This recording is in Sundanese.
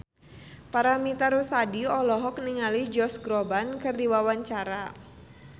Paramitha Rusady olohok ningali Josh Groban keur diwawancara